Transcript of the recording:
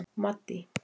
Maddý